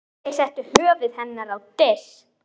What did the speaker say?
Þeir settu höfuð hennar á disk.